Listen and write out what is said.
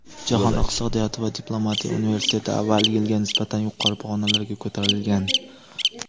Jahon iqtisodiyoti va diplomatiya universiteti avvalgi yilga nisbatan yuqori pog‘onalarga ko‘tarilgan.